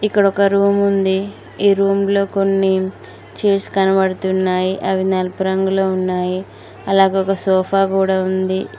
ఇక్కడ ఒక రూం ఉంది ఈ రూంలో కొన్ని చైర్స్ కనపడుతున్నాయి అవి నలుపు రంగులో ఉన్నాయి అలాగే ఒక సోఫా కుడా ఉంది.